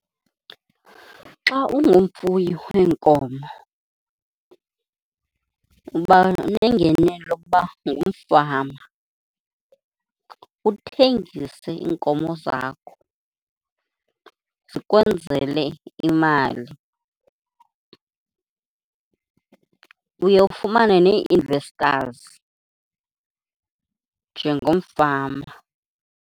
Xa ungumfuyi weenkomo uba nengenelo yokuba ngumfama, uthengise iinkomo zakho zikwenzele imali. Uye ufumane nee-investors njengomfama.